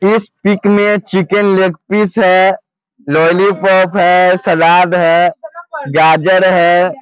इस पिक में chicken leg piece है लोलीपोप है सलाद है गाजर है।